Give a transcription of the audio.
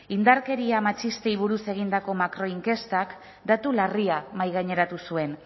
indarkeria matxistei buruz egindako makroinkestak datu larria mahaigaineratu zuen